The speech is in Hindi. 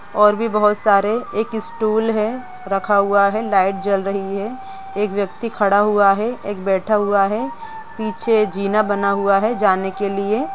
और भी बहुत सारे एक स्टूल है रखा हुआ है लाइट जल रही है एक व्यक्ति हुआ है एक बैठा हुआ है पीछे जीना बना हुआ है जाने के लिए।